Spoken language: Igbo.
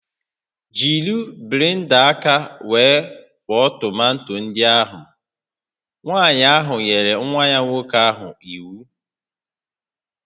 Jiri blenda aka were kwọọ tomato ndị ahụ! Nwanyị ahụ nyere nwa nwoke ahụ iwu